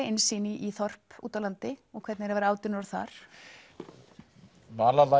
innsýn í þorp úti á landi og hvernig er að vera átján ára þar